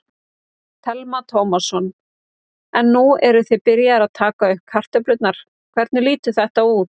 Telma Tómasson: En nú eruð þið byrjaðir að taka upp kartöflurnar, hvernig lítur þetta út?